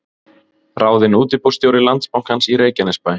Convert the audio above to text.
Ráðinn útibússtjóri Landsbankans í Reykjanesbæ